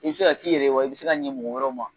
I bɛ se k'a n'i yɛrɛ ye wa i bɛ se k'a ɲɛ mɔgɔ wɛrɛw ma.